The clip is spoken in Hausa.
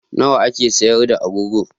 Nawa ake sayar da agogo?